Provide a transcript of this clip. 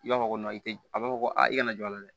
I b'a fɔ ko tɛ a b'a fɔ ko aa i kana jɔ a la dɛ